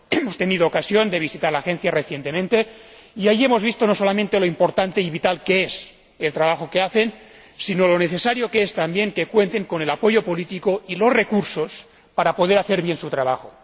Hemos tenido ocasión de visitar la agencia recientemente y allí hemos visto no solamente lo importante y vital que es el trabajo que desarrollan, sino lo necesario que es también que cuenten con el apoyo político y los recursos para poder hacer bien su trabajo.